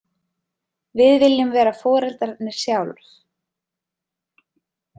Við viljum vera foreldrarnir sjálf.